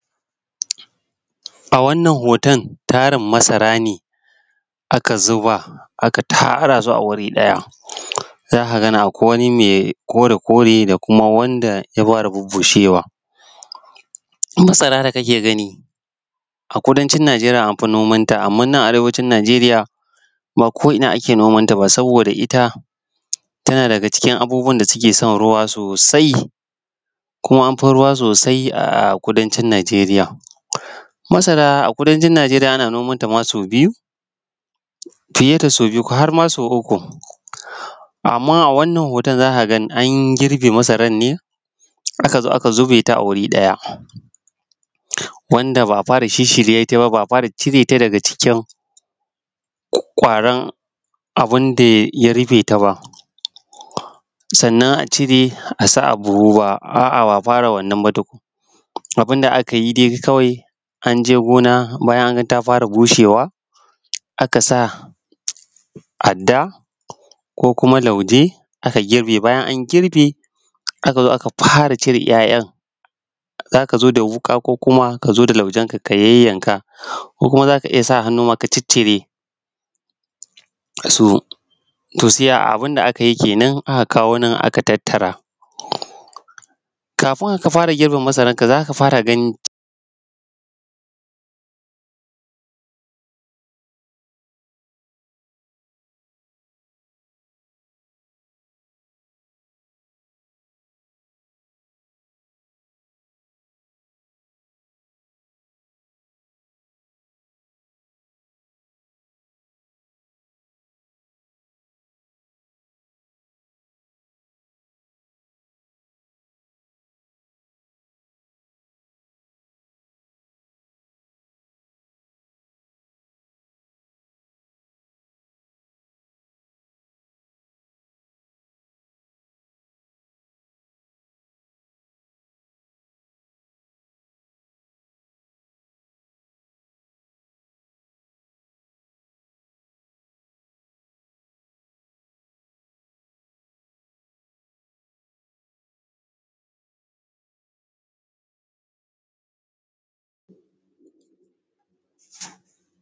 A wannan hoton tarin masara ne aka zuba aka tara su a guri ɗaya, za ka gane akwaijwani mai kore-kore da kuma wanda ya fara bushewa. Masara da kake gani a kudancin Nijeriya an fi noman ta amma a nan Arewacin Nijeriya ba ko ina ake noman ta ba saboda ita tana daga cikin abubuwan da suke son ruwa sosai. Kuma an fi ruwa sosai a kudancin Nijeriya. Masara a kudancin Nijeriya ana nomanta ma sau biyu fiye da sau biyu har ma sau uku. Amma a wannan hoton za ka ga an girbe masaran ne, aka zo aka zube ta wuri ɗaya wanda ba a fara shirshirye ta ba, ba a fara cire ta daga cikin ƙwaran abun da ya rufe ta ba. Sannan a cire a sa a buhu ba.. Aa ba a fara wannan ba tukun, abun da aka yi dai kawai an je gona bayan an ga ta fara bushewa, aka sa adda ko kuma lauje aka girbe. Bayan an girbe aka zo aka fara cire 'ya'yan za ka zo da wuƙa ko kuma ka zo laujen ka yayyanka ko kuma za ka iya sa hannu ma ka ciccire su. To abun da ka yinkenan ko aka kawo nan aka tattara. Kafin ka fara girbe masara za ka fara gani